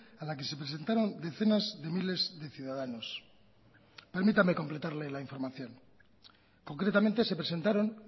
a la que se presentaron decenas de miles de ciudadanos permítame completarle la información concretamente se presentaron